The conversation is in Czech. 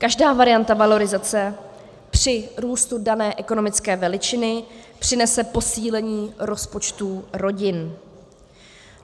Každá varianta valorizace při růstu dané ekonomické veličiny přinese posílení rozpočtů rodin.